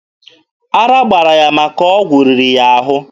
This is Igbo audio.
Ara gbara ya maka ọgwụ riri ya ahụ.